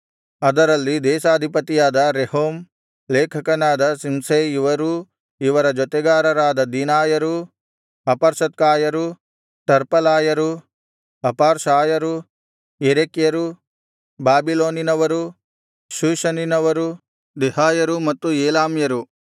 ಅದರಲ್ಲಿ ದೇಶಾಧಿಪತಿಯಾದ ರೆಹೂಮ್ ಲೇಖಕನಾದ ಶಿಂಷೈ ಇವರೂ ಇವರ ಜೊತೆಗಾರರಾದ ದಿನಾಯರು ಅಪರ್ಸತ್ಕಾಯರು ಟರ್ಪಲಾಯರು ಅಪಾರ್ಸಾಯರು ಯೆರೆಕ್ಯರು ಬಾಬಿಲೋನಿನವರು ಶೂಷನಿನವರು ದೆಹಾಯರು ಮತ್ತು ಏಲಾಮ್ಯರು